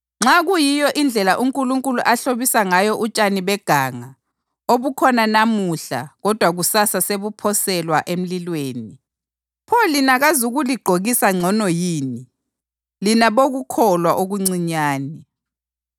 Nxa kuyiyo indlela uNkulunkulu ahlobisa ngayo utshani beganga, obukhona namuhla kodwa kusasa sebuphoselwa emlilweni, pho lina kazukuligqokisa ngcono yini, lina bokukholwa okuncinyane?